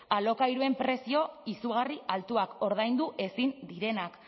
alokairuen prezioak izugarri altuak ordaindu ezin direnak